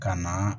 Ka na